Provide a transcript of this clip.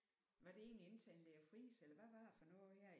Var det ikke tandlæge Friis eller hvad var det for noget her i